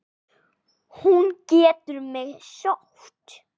Hún getur mig sótt.